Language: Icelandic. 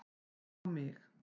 á mig.